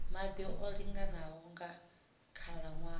maḓi o linganaho nga khalaṅwaha